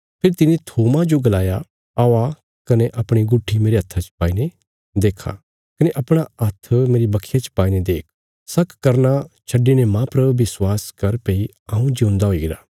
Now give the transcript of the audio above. फेरी तिने थोमा जो गलाया आओ कने अपणी गुट्ठी मेरे हात्था च पाईने देख कने अपणा हात्थ मेरे बखिया च पाईने देख शक करना छड्डिने मांह पर विश्वास कर भई हऊँ जिऊंदा हुईगरा